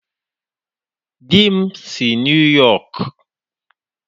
Di m si New York